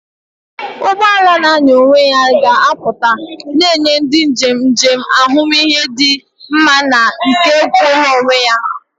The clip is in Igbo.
Ụgbọ ala na-anya onwe ya ga-apụta, na-enye ndị njem njem ahụmihe dị mma na nke kwụụrụ onwe ya.